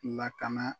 Lakana